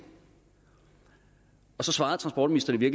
så svarede transportministeren i